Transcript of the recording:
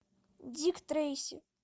дик трейси